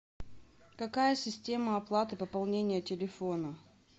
какая система оплаты пополнения телефона